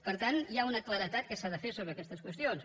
per tant hi ha una claredat que s’ha de fer sobre aquestes qüestions